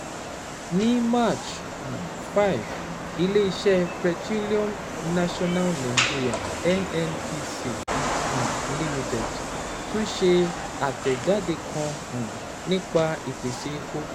Ní March um five, Ile-iṣẹ Petroleum National Nigeria (NNPC) um Limited, tun ṣe atẹjade kan um nipa ipese epo